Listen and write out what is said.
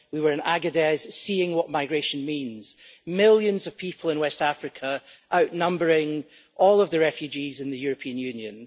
We were in Agadez seeing what migration means millions of people in West Africa outnumbering all of the refugees in the European Union.